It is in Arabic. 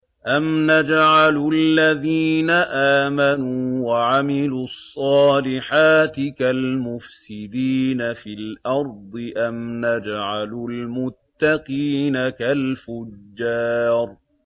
أَمْ نَجْعَلُ الَّذِينَ آمَنُوا وَعَمِلُوا الصَّالِحَاتِ كَالْمُفْسِدِينَ فِي الْأَرْضِ أَمْ نَجْعَلُ الْمُتَّقِينَ كَالْفُجَّارِ